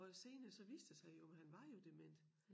Og senere så viste det sig jo han var jo dement